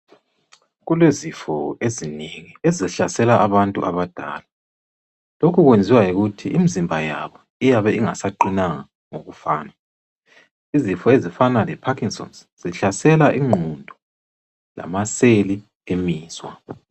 Kulezifo ezinengi ezihlasela abantu abadala, lokhu kwenziwa yikuthi imzimba yabo iyabe ingasaqinanga ngokufana, izifo ezifana le parkinson's zihlasela ingqondo lamaseli emizwa.